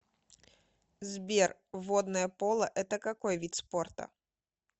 сбер водное поло это какой вид спорта